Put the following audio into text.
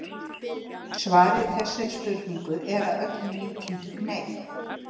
Svarið við þessari spurningu er að öllum líkindum nei.